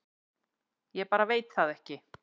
Ég bara veit það ekki